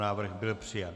Návrh byl přijat.